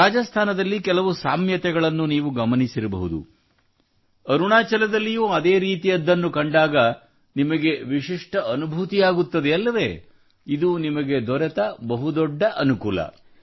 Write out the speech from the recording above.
ರಾಜಸ್ಥಾನದಲ್ಲಿ ಕೆಲವು ಸಾಮ್ಯತೆಗಳನ್ನು ನೀವು ಗಮನಿಸಿರಬಹುದು ಅರುಣಾಚಲದಲ್ಲೂ ಅದೇ ರೀತಿಯದ್ದನ್ನು ಕಂಡಾಗ ನಿಮಗೆ ವಿಶಿಷ್ಟ ಅನುಭೂತಿಯಾಗುತ್ತದೆ ಅಲ್ಲವೇ ಇದು ನಿಮಗೆ ದೊರೆತ ಬಹುದೊಡ್ಡ ಅನುಕೂಲ